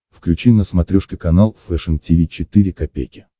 включи на смотрешке канал фэшн ти ви четыре ка